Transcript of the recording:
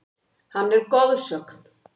Hann er goðsögn.